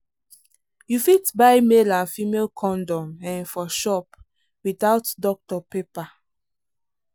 you fit buy male and female condom um for shop without doctor paper.